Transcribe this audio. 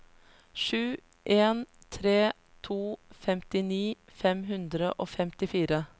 sju en tre to femtini fem hundre og femtifire